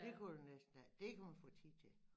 Det kunne du næsten alt dét kan man få tid til